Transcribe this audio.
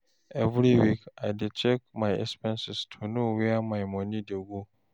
Every week, I dey check my expenses to know where my money dey go.